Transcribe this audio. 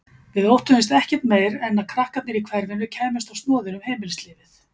Við óttuðumst ekkert meir en að krakkarnir í hverfinu kæmust á snoðir um heimilislífið.